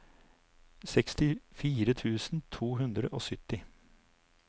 sekstifire tusen to hundre og sytti